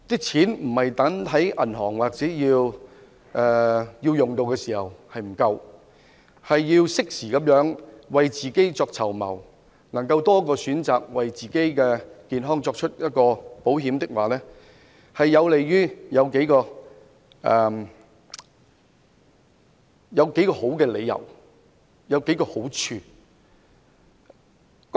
錢不應放在銀行，到使用時才發現不夠，而是要適時為自己籌謀，能夠有多一個選擇，為自己的健康購買保險，此舉有數個理由和好處。